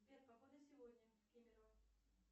сбер погода сегодня в кемерово